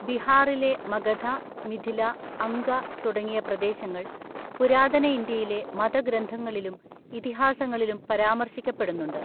ബിഹാറിലെ മഗധ, മിഥില, അംഗ തുടങ്ങിയ പ്രദേശങ്ങൾ പുരാതന ഇന്ത്യയിലെ മതഗ്രന്ഥങ്ങളിലും ഇതിഹാസങ്ങളിലും പരാമർശിക്കപ്പെടുന്നുണ്ട്.